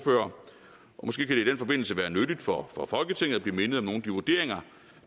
måske kan det i den forbindelse være nyttigt for for folketinget at blive mindet om nogle af de vurderinger